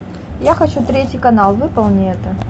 я хочу третий канал выполни это